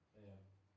Ja ja